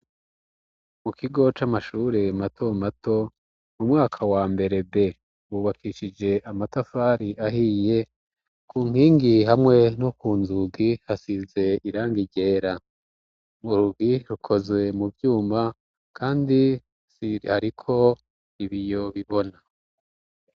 mu kigo c'amashure mato mato mu mwaka wa mbere b hubakishije amatafari ahiye ku nkingi hamwe no ku nzugi hasize irangi ryera murugi rukoze mu byuma kandi ariko ibiyo bibona